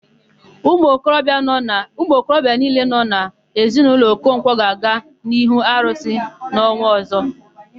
Umuokorobịa niile nọ n'ezinaụlọ Okonkwọ ga-aga n'ihu arụsị ha n'ọnwa ọ̀zọ́.